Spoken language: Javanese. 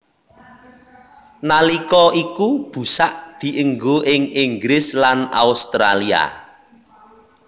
Nalika iku busak dienggo ing Inggris lan Australia